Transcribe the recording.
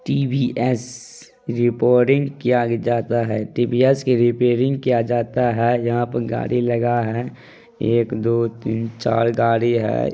TVS reporting किया जाता है टी_वी_एस की रिपेयरिंग किया जाता है यहां पे गाड़ी लगा है एक दो तीन चार गाड़ी है।